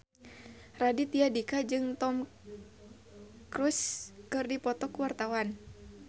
Raditya Dika jeung Tom Cruise keur dipoto ku wartawan